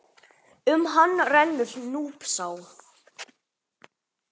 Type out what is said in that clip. Um hann rennur Núpsá.